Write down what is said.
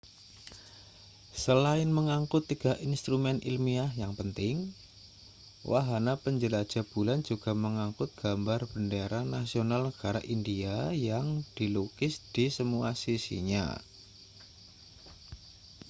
selain mengangkut 3 instrumen ilmiah yang penting wahana penjelajah bulan juga mengangkut gambar bendera nasional negara india yang dilukis di semua sisinya